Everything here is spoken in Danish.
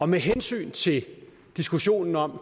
med hensyn til diskussionen om